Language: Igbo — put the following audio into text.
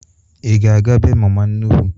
Ị ga-aga bee mama nnụkwụ?